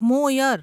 મોયર